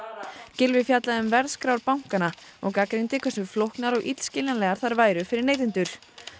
Gylfi fjallaði um verðskrár bankanna og gagnrýndi hversu flóknar og illskiljanlegar þær væru fyrir neytendur